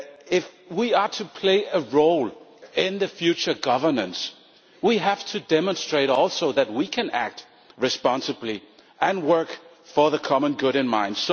If we are to play a role in the future governance, we have to demonstrate also that we can act responsibly and work with the common good in mind.